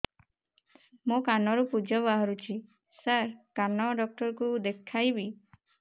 ମୋ କାନରୁ ପୁଜ ବାହାରୁଛି ସାର କାନ ଡକ୍ଟର କୁ ଦେଖାଇବି